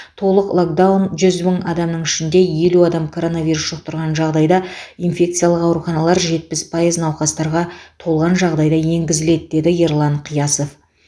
толық локдаун жүз мың адамның ішінде елу адам коронавирус жұқтырған жағдайда инфекциялық ауруханалар жетпіс пайыз науқастарға толған жағдайда енгізіледі деді ерлан қиясов